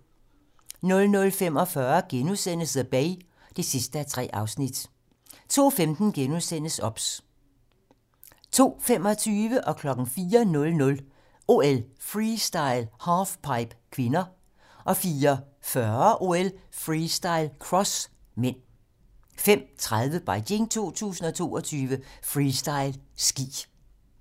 00:45: The Bay (3:3)* 02:15: OBS * 02:25: OL: Freestyle - halfpipe (k) 04:00: OL: Freestyle - halfpipe (k) 04:40: OL: Freestyle - cross (m) 05:30: Beijing 2022: Freestyle ski